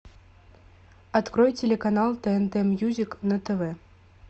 открой телеканал тнт мьюзик на тв